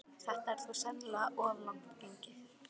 Þetta er þó sennilega of langt gengið.